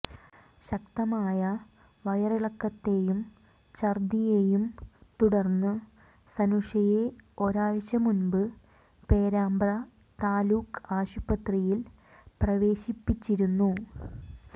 ശക്തമായ വയറിളക്കത്തെയും ഛർദ്ദിയെയും തുടർന്ന് സനുഷയെ ഒരാഴ്ച മുമ്പ് പേരാമ്പ്രാ താലൂക്ക് ആശുപത്രിയിൽ പ്രവേശിപ്പിച്ചിരുന്നു